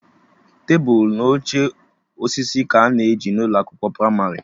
Tebụl na oche osisi ka a na-eji n'ụlọ akwụkwọ pramarị